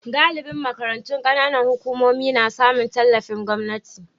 Galibin makarantun kananan hukumomi na samun tallafin gwamnati.